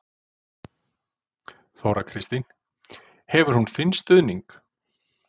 Þóra Kristín: Hefur hún þinn stuðning?